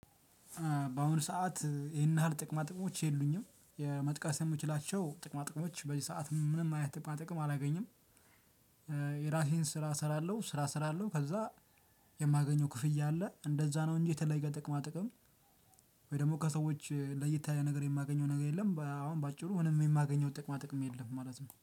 በአሁኑ ሰዓት ይሄን ያህል ጥቅማ ጥቅሞች የሉኝም የመጥቀስ የምችላቸው ጥቅማ ጥቅሞች በዚህ ሰዓት ምንም አይነት ጥቅማ ጥቅም አላገኝም። የራሴን ስራ እሰራለሁ ስራ እሰራለሁ ከዛ የማገኘው ክፍያ አለ እንደዛ ነው እንጂ የተለየ ጥቅማ ጥቅም። ወይ ደግሞ ከሰዎች ለየት ያለ ነገር የማገኘው ነገር የለም። አሁን በአጭሩ ምንም የማገኘው ጥቅማ ጥቅም የለም ማለት ነው።